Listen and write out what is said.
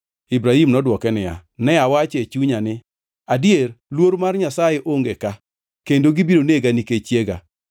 Ibrahim nodwoke niya, “Ne awacho e chunya ni, ‘Adier luor mar Nyasaye onge ka, kendo gibiro nega nikech chiega.’